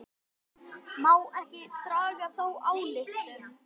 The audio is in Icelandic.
Má ekki draga þá ályktun?